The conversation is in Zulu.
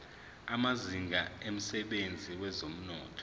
amazinga emsebenzini wezomnotho